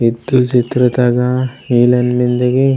इद चित्र तगा इलेन मेन्दे की --